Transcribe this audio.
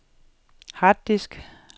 harddisk